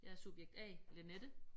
Jeg er subjekt A Linette